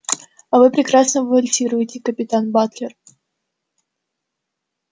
а вы прекрасно вальсируете капитан батлер